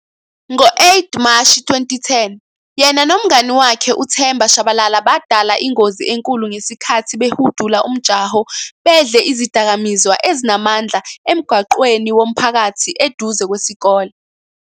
Ngo-8 Mashi 2010 yena nomngani wakhe uThemba Tshabalala badala ingozi enkulu ngesikhathi behudula umjaho bedle izidakamizwa ezinamandla emgwaqweni womphakathi eduze kwesikole.